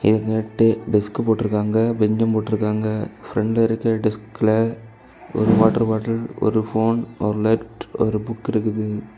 இங்கிட்டு டே டெஸ்க் போட்ருக்காங்க பெஞ்ச்சு போட்ருக்காங்க பிரண்ட்ல இருக்கிற டஸ்குல ஒரு வாட்டர் பாட்டில் ஒரு போன் ஒரு லெட்டர் ஒரு புக் இருக்குது.